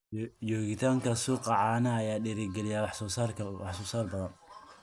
Joogitaanka suuqa caanaha ayaa dhiirigeliya wax soo saar badan.